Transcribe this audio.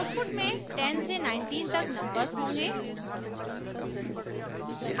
output में 10 से 19 तक नंबर्स होंगे